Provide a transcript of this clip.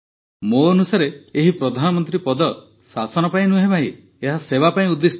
ମୋ ଅନୁସାରେ ଏହି ପ୍ରଧାନମନ୍ତ୍ରୀ ପଦ ଶାସନ ପାଇଁ ନୁହେଁ ଭାଇ ଏହା ସେବା ପାଇଁ ଉଦ୍ଦିଷ୍ଟ